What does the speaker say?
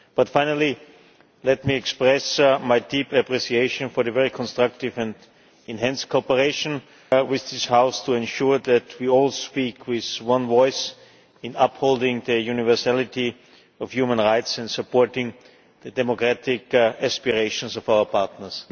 Finally, let me express my deep appreciation for the very constructive and enhanced cooperation with this House to ensure that we all speak with one voice in upholding the universality of human rights and supporting the democratic aspirations of our partners.